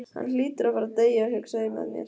Hann hlýtur að fara að deyja, hugsaði ég með mér.